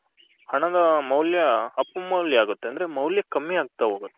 ಹಣದ ಮೌಲ್ಯ ಅಪಮೌಲ್ಯ ಆಗುತ್ತೆ ಅಂದ್ರೆ ಮೌಲ್ಯ ಕಮ್ಮಿ ಆಗ್ತಾ ಹೋಗುತ್ತೆ.